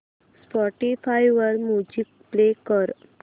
Spotify वर music play कर